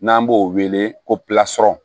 N'an b'o wele ko plasɔn